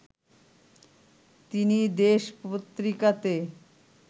তিনি দেশ পত্রিকাতে